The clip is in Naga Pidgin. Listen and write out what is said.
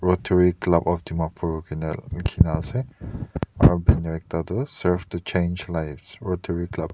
etu club of dimapur kina likhe kina ase atu banner ekta tu serve to chance lives club .